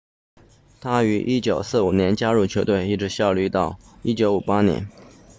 他于1945年加入球队一直效力到1958年